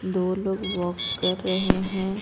दो लोग वॉक कर रहे हैं।